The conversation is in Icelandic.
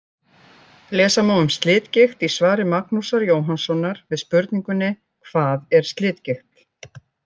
Lesa má um slitgigt í svari Magnúsar Jóhannssonar við spurningunni: Hvað er slitgigt?